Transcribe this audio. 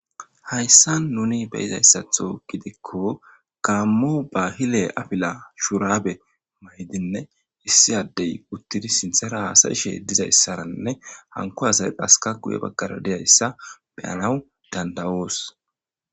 Hayssa nuni beyizayssatho gidikko kaammu bahile afila shuraabe maydinne issi addey uttidi sinthera haasayishe dizayssaranne hanko hasay haska guye baggara diyayssa beyanaw danda'oos.